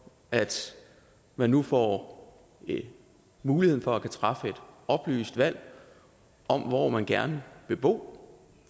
at man nu får muligheden for at kunne træffe et oplyst valg om hvor man gerne vil bo